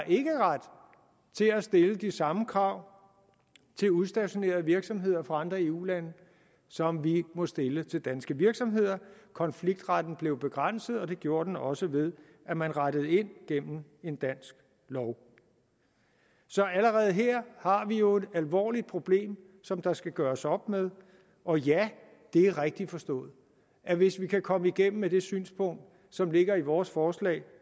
ikke har ret til at stille de samme krav til udstationerede virksomheder fra andre eu lande som vi må stille til danske virksomheder konfliktretten blev begrænset og det gjorde den også ved at man rettede ind gennem en dansk lov så allerede her har vi jo et alvorligt problem som der skal gøres op med og ja det er rigtigt forstået at hvis vi kan komme igennem med det synspunkt som ligger i vores forslag